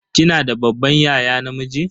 Kina da babban yaya namiji?